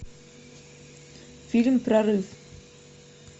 фильм прорыв